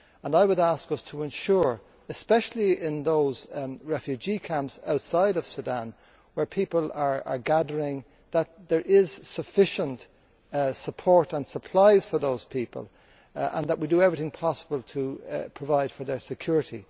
I would ask us to ensure especially in those refugee camps outside Sudan where people are gathering that there is sufficient support and supplies for those people, and that we do everything possible to provide for their security.